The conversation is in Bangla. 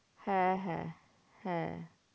হ্যাঁ হ্যাঁ হ্যাঁ